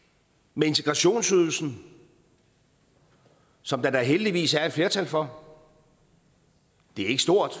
med integrationsydelsen som der da heldigvis er et flertal for det er ikke stort